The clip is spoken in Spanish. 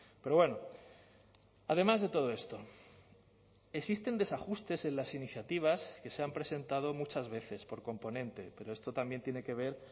pero bueno además de todo esto existen desajustes en las iniciativas que se han presentado muchas veces por componente pero esto también tiene que ver